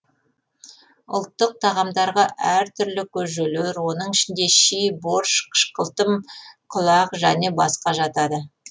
ұлттық тағамдарға әр түлі көжелер соның ішінде щи борщ қышқылтым құлақ және тағы басқа жатады